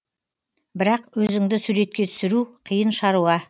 бірақ өзіңді суретке түсіру қиын шаруа